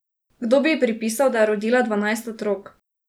Kdo bi ji pripisal, da je rodila dvanajst otrok?